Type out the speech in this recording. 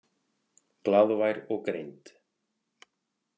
Glaðvær og greind.